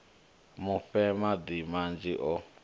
mu fhe madi manzhi o